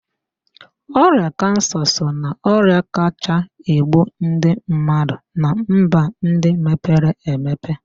Ọrịa kansa so na ọrịa kachaa egbu ndị mmadụ na mba ndị mepere emepe